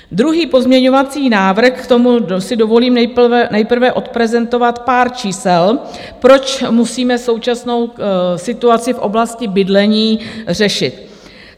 Druhý pozměňovací návrh, k tomu si dovolím nejprve odprezentovat pár čísel, proč musíme současnou situaci v oblasti bydlení řešit.